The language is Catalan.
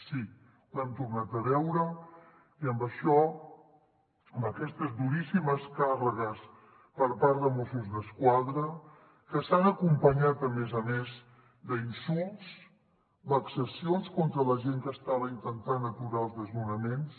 sí ho hem tornat a veure i amb això amb aquestes duríssimes càrregues per part de mossos d’esquadra que s’han acompanyat a més a més d’insults vexacions contra la gent que estava intentant aturar els desnonaments